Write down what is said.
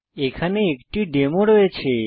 এখানে একটি ডেমো রয়েছে